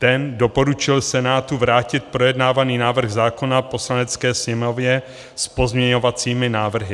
Ten doporučil Senátu vrátit projednávaný návrh zákona Poslanecké sněmovně s pozměňovacími návrhy.